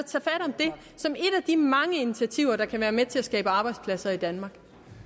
de mange initiativer der kan være med til at skabe arbejdspladser i danmark